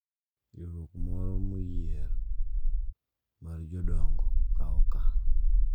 Riwruok moro moyier mar jodongo kawo okang’ .